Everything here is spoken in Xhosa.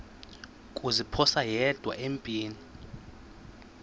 kuziphosa yedwa empini